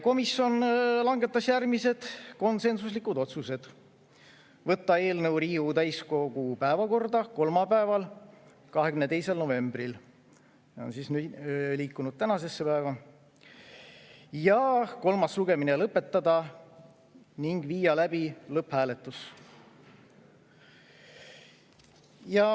Komisjon langetas järgmised konsensuslikud otsused: võtta eelnõu Riigikogu täiskogu päevakorda kolmapäeval, 22. novembril – nüüd on see meil liikunud tänasesse päeva – ja kolmas lugemine lõpetada ning viia läbi lõpphääletus.